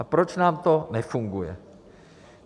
A proč nám to nefunguje?